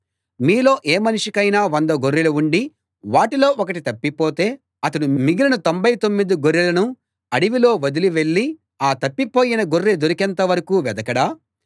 మీలో ఏ మనిషికైనా వంద గొర్రెలు ఉండి వాటిలో ఒకటి తప్పిపోతే అతడు మిగిలిన తొంభై తొమ్మిది గొర్రెలను అడవిలో వదిలి వెళ్ళి ఆ తప్పిపోయిన గొర్రె దొరికేంత వరకూ వెదకడా